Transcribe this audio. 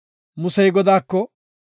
Musey Godaako,